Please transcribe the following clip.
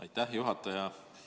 Aitäh, juhataja!